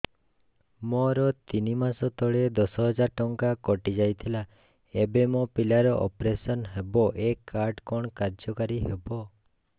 ମୋର ତିନି ମାସ ତଳେ ଦଶ ହଜାର ଟଙ୍କା କଟି ଯାଇଥିଲା ଏବେ ମୋ ପିଲା ର ଅପେରସନ ହବ ଏ କାର୍ଡ କଣ କାର୍ଯ୍ୟ କାରି ହବ